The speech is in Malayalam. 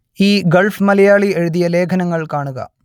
ഈ ഗൾഫ് മലയാളി എഴുതിയ ലേഖനങ്ങൾ കാണുക